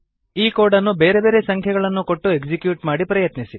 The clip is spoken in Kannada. ಈ ಕೋಡ್ ಅನ್ನು ಬೇರೆ ಬೇರೆ ಸಂಖ್ಯೆಗಳನ್ನು ಕೊಟ್ಟು ಎಕ್ಸಿಕ್ಯೂಟ್ ಮಾಡಿ ಪ್ರಯತ್ನಿಸಿ